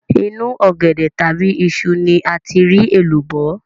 Inú ọ̀gẹ̀dẹ̀ tàbí iṣu ni a ti rí èlùbọ́